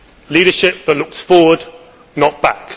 leadership that looks forward, not back